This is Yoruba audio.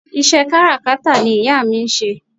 Ìṣe kárakátà ni ìyá mi ń ṣe